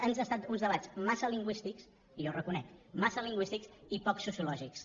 han estat uns debats massa lingüístics i jo ho reconec massa lingüístics i poc sociològics